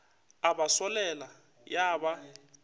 a ba solela ya ba